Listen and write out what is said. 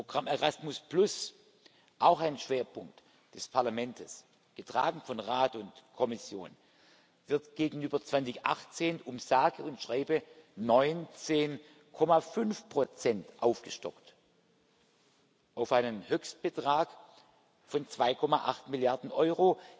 Das Programm Erasmus auch ein Schwerpunkt des Parlaments, getragen von Rat und Kommission wird gegenüber 2018 um sage und schreibe 19,5 aufgestockt auf einen Höchstbetrag von 2,8 Milliarden Euro.